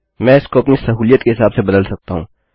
मैं इसको अपनी सहूलियत के हिसाब से बदल सकता हूँ